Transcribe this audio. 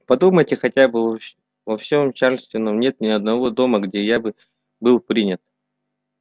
подумайте хотя бы во всем чарльстоне нет ни одного дома где я бы был принят